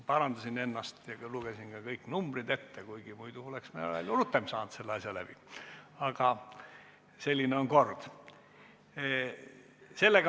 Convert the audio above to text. Parandasin ennast ja lugesin kõik numbrid ette, kuigi muidu oleks me selle asja palju rutem läbi saanud, aga selline on kord.